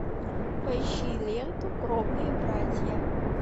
поищи ленту кровные братья